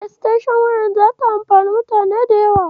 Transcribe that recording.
Estenshon waya zata amfanar da mutane da yawa.